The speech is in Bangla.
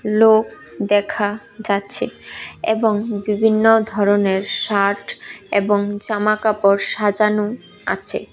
লোক দেখা যাচ্ছে এবং বিভিন্ন ধরনের শার্ট এবং জামা কাপড় সাজানো আছে।